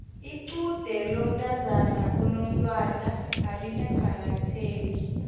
lqude lomntazana onomtwana alikaqakatheki